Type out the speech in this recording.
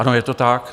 Ano je to tak.